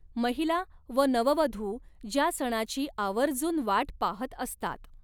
महिला व नववधू ज्या सणाची आवर्जून वाट पाहत असतात.